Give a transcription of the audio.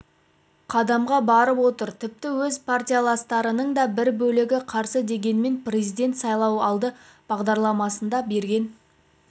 қадамға барып отыр тіпті өз партияластарының да бір бөлігі қарсы дегенмен президент сайлауалды бағдарламасында берген